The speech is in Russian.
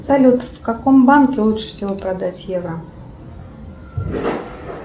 салют в каком банке лучше всего продать евро